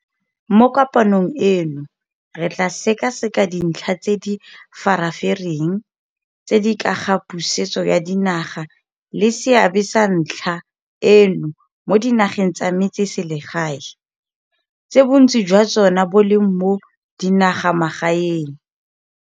Mo kopanong eno re tla sekaseka dintlha tse di re farafareng tse di ka ga pusetso ya dinaga le seabe sa ntlha eno mo dinageng tsa metse selsegae, tse bontsi jwa tsona bo leng mo dinagamagaeng.